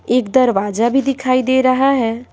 एक दरवाजा भी दिखाई दे रहा है।